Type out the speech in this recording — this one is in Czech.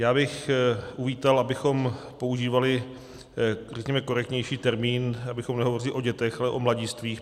Já bych uvítal, abychom používali, řekněme, korektnější termín, abychom nehovořili o dětech, ale o mladistvých.